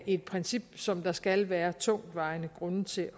et princip som der skal være tungtvejende grunde til